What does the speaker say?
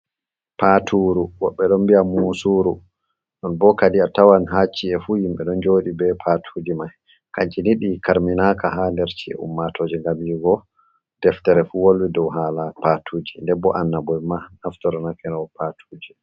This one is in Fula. Paturu woɓɓe ɗon mbi'a musuru, non bo kadi a tawan ha ci’e fu himɓe ɗon joɗi be patuji mai, kanji ni ɗi karminaka ha nder ci’e ummatoje ngam yi'ugo deftere fu wolwi dow hala patuji, nden bo annabo'en ma naftorakeno bee patuji.